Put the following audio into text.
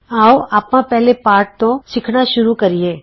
ਆਉ ਆਪਾਂ ਪਹਿਲੇ ਪਾਠ ਤੋਂ ਸਿੱਖਣਾ ਸ਼ੁਰੂ ਕਰੀਏ